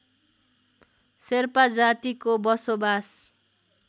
शेर्पा जातिको बसोवास